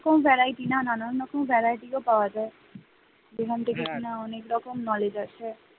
full variety নানান রকম variety পাওয়া যায় । যেখান থেকে অনেক রকম knowledge আসে ।